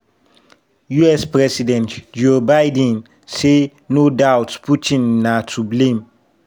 us president joe biden say "no doubt" putin na to blame.